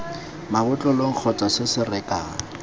mabotlolong kgotsa se se rekang